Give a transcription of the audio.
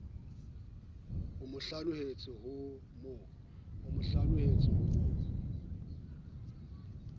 o mo hlanohetse ho mo